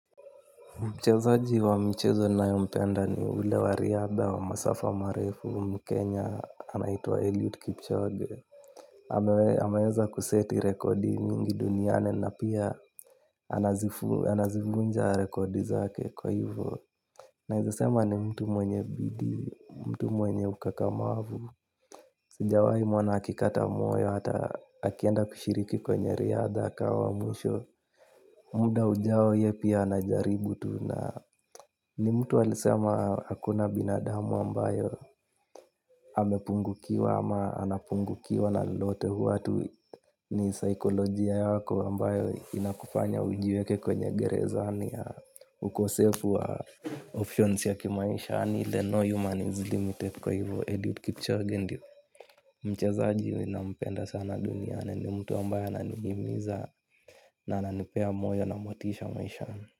Mchezaji wa mchezo ninayo mpenda ni ule wa riadha wa Masafa Marefu mkenya anaitwa Eliud Kipchoge. Ameweza kuseti rekodi mingi duniani na pia anazifunja rekodi zake kwa hivyo. Naezasema ni mtu mwenye bidii, mtu mwenye ukakamavu. Sijawahi mwona akikata moyo hata akienda kushiriki kwenye riadha akawa wa mwisho. Muda ujao yepi anajaribu tu na ni mtu alisema hakuna binadamu ambayo amepungukiwa ama anapungukiwa na lolote huwa hatu ni psychology yako ambayo inakufanya ujiweke kwenye gerezani ya ukosefu wa options ya kimaisha yani ile no human is doing tape kwa hivo Eliud Kipchoge ndio mchazaji nina mpenda sana duniani ni mtu ambayo ananidumiza na ananipea moyo na motisha maishani.